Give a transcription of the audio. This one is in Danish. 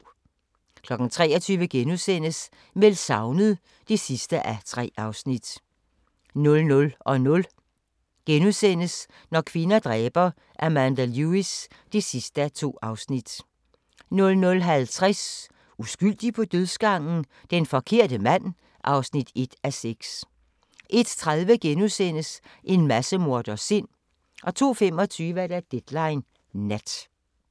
23:00: Meldt savnet (3:3)* 00:00: Når kvinder dræber – Amanda Lewis (2:2)* 00:50: Uskyldig på dødsgangen? Den forkerte mand (1:6) 01:30: En massemorders sind * 02:25: Deadline Nat